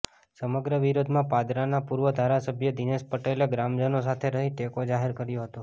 સમગ્ર વિરોધમાં પાદરાના પૂર્વ ધારાસભ્ય દિનેશ પટેલે ગ્રામજનો સાથે રહી ટેકો જાહેર કર્યો હતો